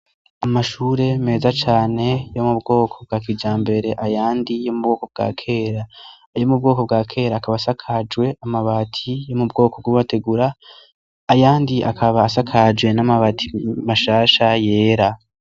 Amashure meza cane yo mu bwoko bwa kijambere, ayandi yo mu bwoko bwa kera, ayo mu bwoko bwa kera akaba asakajwe amabati yo mu bwoko bw'amategura, ayandi akaba asakajwe n'amabati mashasha yera.